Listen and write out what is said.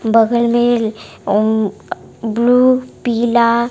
बगल में ब्लू पिला--